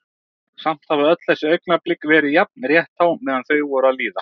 Samt hafa öll þessi augnablik verið jafn rétthá meðan þau voru að líða.